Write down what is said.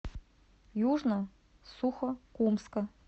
южно сухокумска